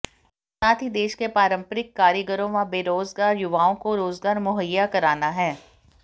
साथ ही देश के पारंपरिक कारीगरों व बेरोजगार युवाओं को रोजगार मुहैया कराना है